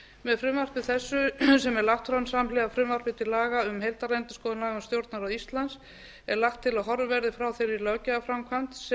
með frumvarpi þessu sem er lagt fram samhliða frumvarpi til laga um heildarendurskoðun laga um stjórnarráð íslands er lagt til að horfið verði frá þeirri löggjafarframkvæmd